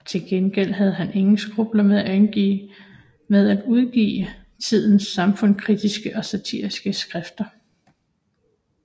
Til gengæld havde han ingen skrupler med at udgive tidens samfundskritiske og satiriske skrifter